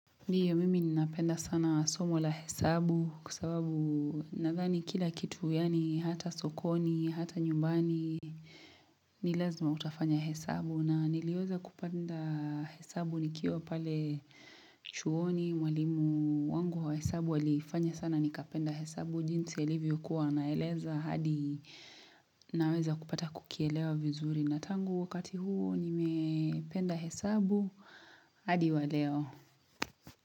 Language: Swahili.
Ndio mimi ninapenda sana somo la hesabu kwa sababu nadhani kila kitu yani hata sokoni, hata nyumbani ni lazima utafanya hesabu na niliweza kupenda hesabu nikiwa pale chuoni mwalimu wangu wa hesabu alifanya sana nikapenda hesabu jinsi alivyokuwa anaeleza hadi naweza kupata kukielewa vizuri na tangu wakati huo nimependa hesabu hadi waleo.